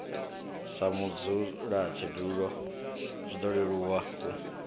sa mudzulatshidulo zwiṱo leluwa u